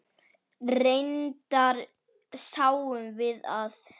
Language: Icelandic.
Reyndar sjáum við að